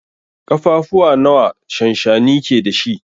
Kafafuwa nawa shanshani ke da shi?